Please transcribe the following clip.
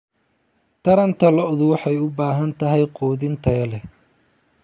Taranta lo'du waxay u baahan tahay quudin tayo leh.